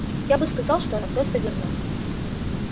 я бы сказал что она просто верна